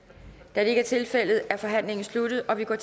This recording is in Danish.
da det ikke er tilfældet er forhandlingen sluttet og vi går